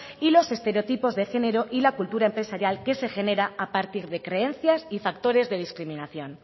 y los estereotipos de género y la cultura empresarial que se genera a partir de creencias y factores de discriminación